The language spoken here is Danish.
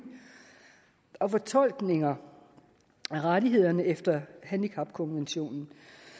og fortolkninger af rettighederne efter handicapkonventionen